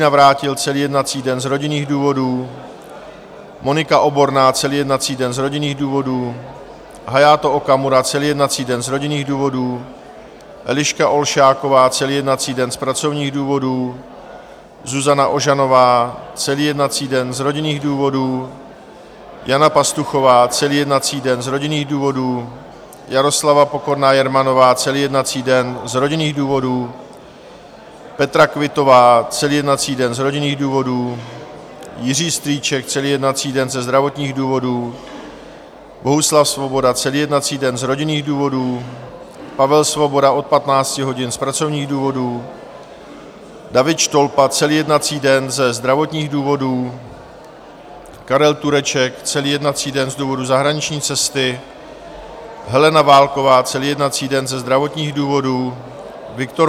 Navrátil celý jednací den z rodinných důvodů, Monika Oborná celý jednací den z rodinných důvodů, Hayato Okamura celý jednací den z rodinných důvodů, Eliška Olšáková celý jednací den z pracovních důvodů, Zuzana Ožanová celý jednací den z rodinných důvodů, Jana Pastuchová celý jednací den z rodinných důvodů, Jaroslava Pokorná Jermanová celý jednací den z rodinných důvodů, Petra Quittová celý jednací den z rodinných důvodů, Jiří Strýček celý jednací den ze zdravotních důvodů, Bohuslav Svoboda celý jednací den z rodinných důvodů, Pavel Svoboda od 15 hodin z pracovních důvodů, David Štolpa celý jednací den ze zdravotních důvodů, Karel Tureček celý jednací den z důvodu zahraniční cesty, Helena Válková celý jednací den ze zdravotních důvodů, Viktor